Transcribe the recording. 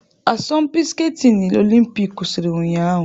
Asọmpi skatini olimpik kwụsịrị ụnyahụ.